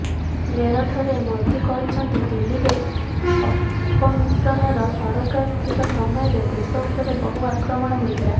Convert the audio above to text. ମେରଠରେ ମୋଦି କହିଛନ୍ତି ଦିଲ୍ଲୀରେ ଅପମିଶ୍ରଣର ସରକାର ଥିବା ସମୟରେ ଦେଶ ଉପରେ ବହୁ ଆକ୍ରମଣ ହୋଇଥିଲା